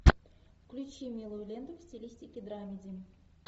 включи милую ленту в стилистике драмеди